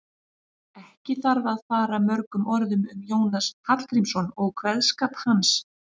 Ekki þarf að fara mörgum orðum um Jónas Hallgrímsson og kveðskap hans.